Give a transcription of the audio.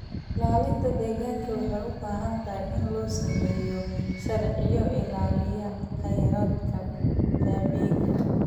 Ilaalinta deegaanka waxay u baahan tahay in la sameeyo sharciyo ilaalinaya khayraadka dabiiciga ah.